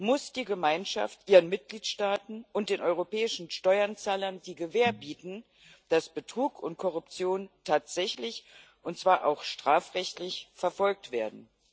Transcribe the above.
muss die Gemeinschaft ihren Mitgliedstaaten und den europäischen Steuerzahlern die Gewähr bieten, dass Betrug und Korruption tatsächlich, und zwar auch strafrechtlich, verfolgt werden.